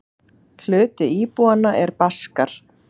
Hluti íbúanna er Baskar.